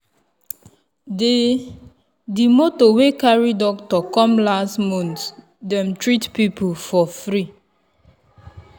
the the moto wey carry doctor come last month dem treat people for free.